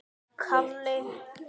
Koma tímar, koma ráð.